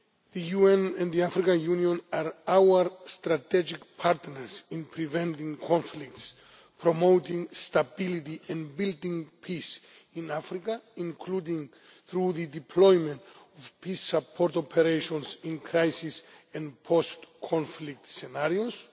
The UN and the African Union are our strategic partners in preventing conflicts, promoting stability and building peace in Africa, including through the deployment of peace support operations in crisis and post conflict scenarios.